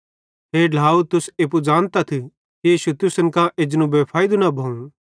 हे ढ्लाव तुस एप्पू ज़ानतथ कि इश्शू तुसन कां एजनू बेफैइदू न भोवं